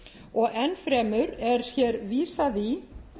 og enn fremur er hér vísað í